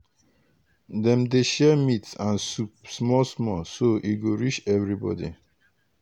dem dey share meat and soup small small so e go reach everybody.